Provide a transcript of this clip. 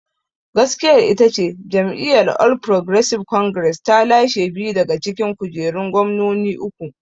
Gaskiyar ita ce, jam'iyyar All Progressive Congress ta lashe biyu daga cikin kujerun gwamnoni uku.